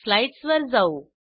slides वर जाऊ